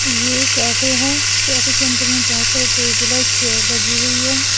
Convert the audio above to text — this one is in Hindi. ये एक कैफे है इस कैफे के अंदर में बहुत सारी टेबल और चेयर लगी हुई है।